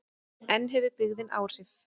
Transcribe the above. En hefur byggðin áhrif?